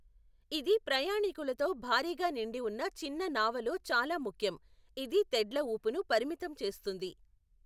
ఇది ప్రయాణికులతో భారీగా నిండి వున్న చిన్న నావలో చాలా ముఖ్యం, ఇది తెడ్ల ఊపును పరిమితం చేస్తుంది.